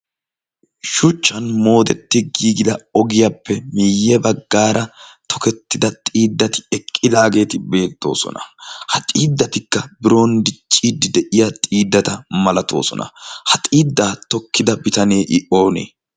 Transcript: shuchchan moodetti giigida ogiyaappe miyye baggaara tokettida xiiddati eqqidaageeti beettoosona. ha xiiddatikka bironddi ciiddi de'iya xiiddata malatoosona ha xiiddaa tokkida bitanee i oonee?